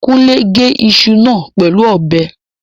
Kúnlé gé iṣu náà pẹ̀lú ọ̀bẹ